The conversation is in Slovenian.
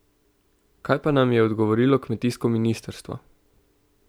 Kaj pa nam je odgovorilo kmetijsko ministrstvo?